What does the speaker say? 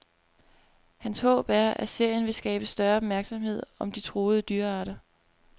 Hans håb er, at serien vil skabe større opmærksomhed om de truede dyrearter.